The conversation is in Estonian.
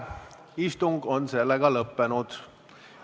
Istung on lõppenud.